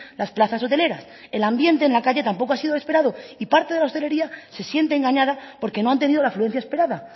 las plazas hoteleras el ambiente en la calle tampoco ha sido el esperado y parte de la hostelería se siente engañada porque no han tenido la afluencia esperada